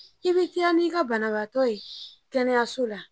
I bɛ teliya n'i ka banabagatɔ ye kɛnɛyaso la